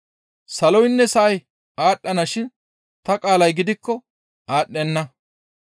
Saloynne sa7ay aadhdhana shin ta qaalay gidikko aadhdhenna.